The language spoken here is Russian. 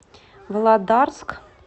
володарск